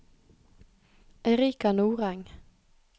Erica Nordeng